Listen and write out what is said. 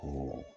Ko